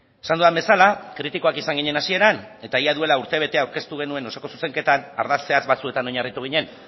esan dudan bezala kritikoak izan ginen hasieran eta ia duela urtebete aurkeztu genuen osoko zuzenketan ardatz zehatz batzuetan oinarritu ginen